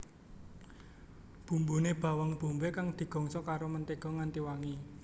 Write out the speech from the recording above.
Bumbune bawang bombay kang digongso karo mentega nganti wangi